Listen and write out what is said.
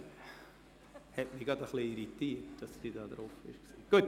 Es hat mich gerade etwas irritiert, dass sie auf der Rednerliste steht.